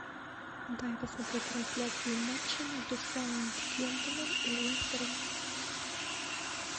дай посмотреть трансляцию матча между саутгемптоном и лестером